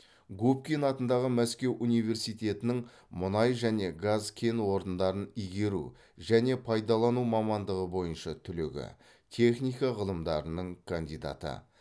губкин атындағы мәскеу университетінің мұнай және газ кен орындарын игеру және пайдалану мамандығы бойынша түлегі техника ғылымдарының кандидаты